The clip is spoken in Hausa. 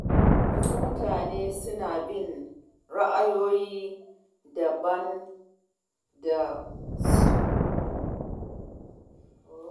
Wasu mutane suna bin ra’ayoyin da ba su da tushe a kafafen sada zumunta.